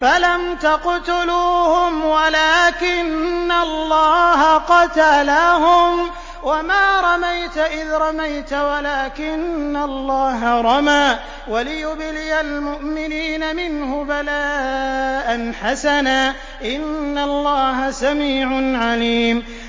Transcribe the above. فَلَمْ تَقْتُلُوهُمْ وَلَٰكِنَّ اللَّهَ قَتَلَهُمْ ۚ وَمَا رَمَيْتَ إِذْ رَمَيْتَ وَلَٰكِنَّ اللَّهَ رَمَىٰ ۚ وَلِيُبْلِيَ الْمُؤْمِنِينَ مِنْهُ بَلَاءً حَسَنًا ۚ إِنَّ اللَّهَ سَمِيعٌ عَلِيمٌ